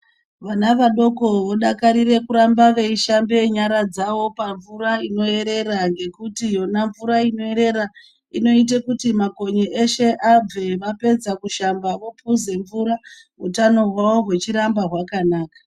Vana vadoko vodakarira kurambe veishambe nyara dzao pamvura inoerera ngekuti yona mvura inoerera inoita kuti makonye eshe abve vapedza kushamba vokuza mvura utano hwavo huchiramba hwakanaka.